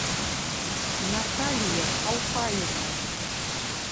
наталья алхаевна